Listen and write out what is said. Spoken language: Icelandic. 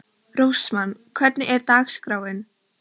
Rósmann, hvernig er dagskráin?